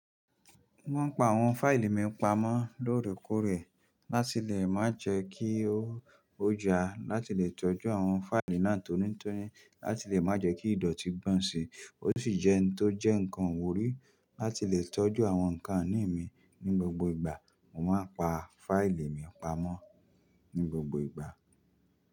Mo máa ń pa àwọn fáìlì mi pamọ́ lóòrèkóòrè láti lè má jẹ́ kí ó jà, láti lè tọ́jú àwọn fáìlì náà tónítóní, láti lè má jẹ́ kí ìdọ̀tí gbàn si. Ó sì jẹ́ ẹni tó jẹ́ nǹkan iwurí láti lè tọ́jú àwọn nǹkan inì mi ní gbogbo ìgbà. Mo máa ń pa fáìlì mi pamọ́ ní gbogbo ìgbà.